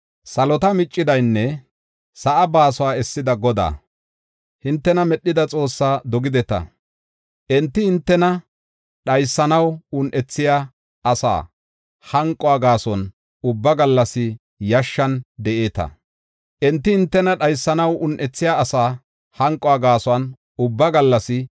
Salota miccidanne sa7a baasuwa essida Godaa, hintena medhida Xoossaa dogideta. Enti hintena dhaysanaw un7ethiya asaa hanquwa gaason ubba gallas yashshan de7eeta. Shin hintena un7etheyisata hanqoy awun de7ii?